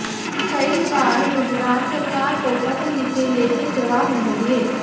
कई बार गुजरात सरकार को पत्र लिखे लेकिन जवाब नहीं दिए